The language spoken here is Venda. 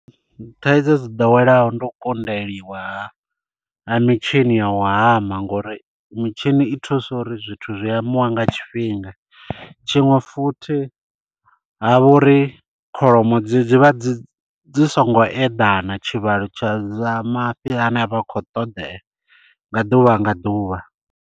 Thaidzo dzi ḓowelaho ndo konḓeliwa ha mitshini ya u hama ngori mitshini i thusa uri zwithu zwi hamiwa nga tshifhinga. Tshiṅwe futhi ha vha uri kholomo dzivha dzi songo eḓana tshivhalo tsha mafhi ane a vha a khou ṱoḓea nga ḓuvha nga ḓuvha.